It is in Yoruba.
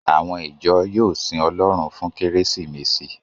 Àwọn ìjọ yóò sin Ọlọ́run fún Kérésìmesì